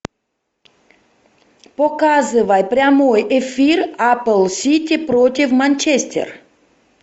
показывай прямой эфир апл сити против манчестер